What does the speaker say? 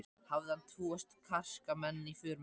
Hafði hann tvo karska menn í för með sér.